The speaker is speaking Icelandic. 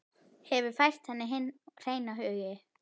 Hefur fært henni hinn hreina huga.